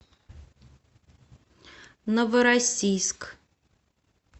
новороссийск